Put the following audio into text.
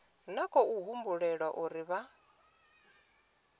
na khou humbulela uri vha